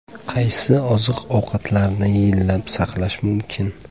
Qaysi oziq-ovqatlarni yillab saqlash mumkin?